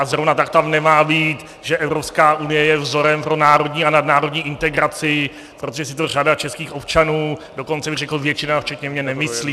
A zrovna tak tam nemá být, že Evropská unie je vzorem pro národní a nadnárodní integraci, protože si to řada českých občanů, dokonce bych řekl většina, včetně mě, nemyslí.